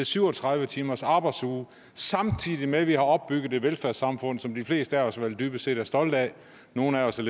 syv og tredive timers arbejdsuge samtidig med at vi har opbygget et velfærdssamfund som de fleste af os vel dybest set er stolte af nogle af os er